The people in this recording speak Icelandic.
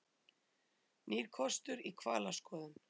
Nýr kostur í hvalaskoðun